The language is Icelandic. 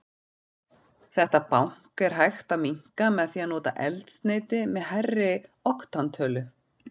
Þetta bank er hægt að minnka með því að nota eldsneyti með hærri oktantölu.